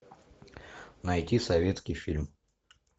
найти советский фильм